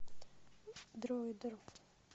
дроидер